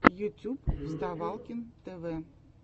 ютюб вставалкин тв